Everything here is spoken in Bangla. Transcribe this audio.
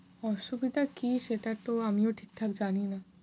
অসুবিধা কী সেটা তো আমিও ঠিকঠাক জানিনা।